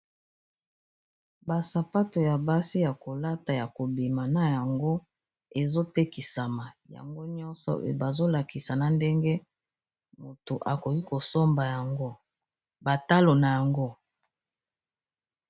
basapato ya basi ya kolata ya kobima na yango ezotekisama yango nyonso pe bazolakisa na ndenge moto akoki kosomba ygbatalo na yango